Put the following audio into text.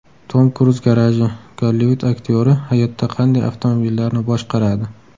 Tom Kruz garaji: Gollivud aktyori hayotda qanday avtomobillarni boshqaradi?